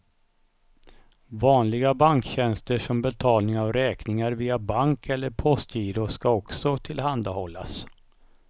Vanliga banktjänster som betalning av räkningar via bank eller postgiro ska också tillhandahållas.